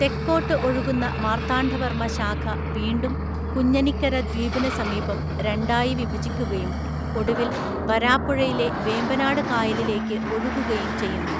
തെക്കോട്ട് ഒഴുകുന്ന മാർത്താണ്ഡവർമ്മ ശാഖ വീണ്ടും കുഞ്ഞനിക്കര ദ്വീപിന് സമീപം രണ്ടായി വിഭജിക്കുകയും ഒടുവിൽ വരാപ്പുഴയിലെ വേമ്പനാട് കായലിലേക്ക് ഒഴുകുകയും ചെയ്യുന്നു.